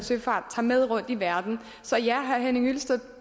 søfart tager med rundt i verden så ja herre henning hyllested